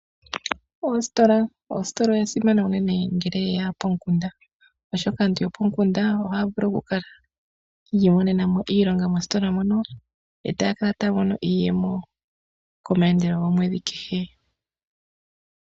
Oositola, oositola esimano unene ngele ye ya pomukunda, oshoka aantu yopomukunda ohaa vulu oku kala yi imonena mo iilonga mositola mono, e taya kala taya mono iiyemo komaandelo gomwedhi kehe.